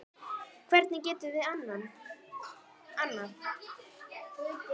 Hvernig getum við annað?